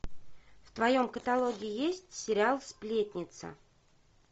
в твоем каталоге есть сериал сплетница